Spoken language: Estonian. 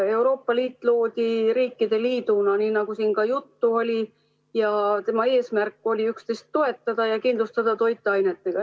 Euroopa Liit loodi riikide liiduna, nii nagu siin ka juttu oli, ja tema eesmärk oli üksteist toetada ja kindlustada toiduainetega.